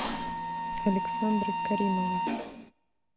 александрой каримовой